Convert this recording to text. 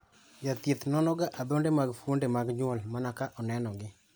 Jathieth nonoga adhonde mag fuonde mag nyuol mana ka onenogi.